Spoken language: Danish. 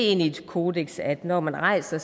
er et kodeks at når man rejser